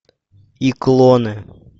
и клоны